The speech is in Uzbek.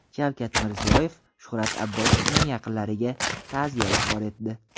Shavkat Mirziyoyev Shuhrat Abbosovning yaqinlariga ta’ziya izhor etdi.